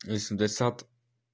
плвлп